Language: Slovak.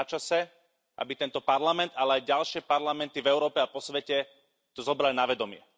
A je načase, aby tento parlament, ale aj ďalšie parlamenty v Európe a po svete to zobrali na vedomie.